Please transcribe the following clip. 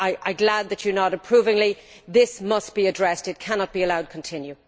I am glad that you are nodding approvingly. This must be addressed. It cannot be allowed to continue.